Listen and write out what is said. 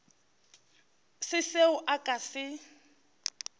se seo a ka se